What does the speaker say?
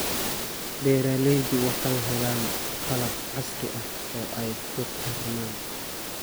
Beeraleydu waxay helaan qalab casri ah oo ay ku tarmaan.